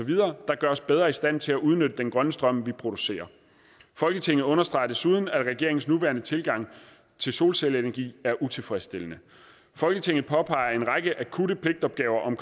der gør os bedre i stand til at udnytte den grønne strøm vi producerer folketinget understreger desuden at regeringens nuværende tilgang til solcelleenergi er utilfredsstillende folketinget påpeger en række akutte pligtopgaver om